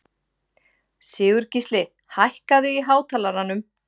Sigurgísli, hækkaðu í hátalaranum.